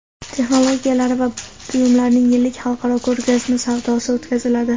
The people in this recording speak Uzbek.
texnologiyalari va buyumlarining yillik xalqaro ko‘rgazma-savdosi o‘tkaziladi.